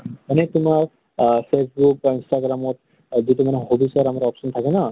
মানে তোমাৰ আ facebook বা instagram ত যিটো মানে hobbies আমাৰ option থাকে ন ?